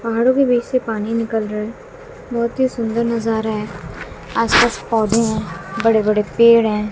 पहाड़ों के बीच से पानी निकल रहा है बहुत ही सुंदर नजारा है आसपास पौधे हैं बड़े बड़े पेड़ हैं।